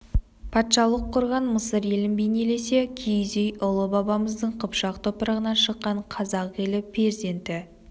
патшалық құрған мысыр елін бейнелесе киіз үй ұлы бабамыздың қыпшақ топырағынан шыққан қазақ елі перзенті